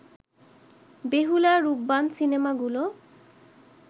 বেহুলা, রূপবান সিনেমাগুলো